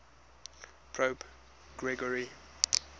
pope gregory